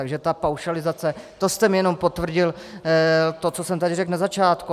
Takže ta paušalizace, to jste mi jenom potvrdil to, co jsem tady řekl na začátku.